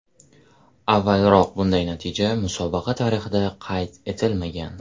Avvalroq bunday natija musobaqa tarixida qayd etilmagan.